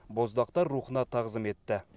боздақтар рухына тағзым етті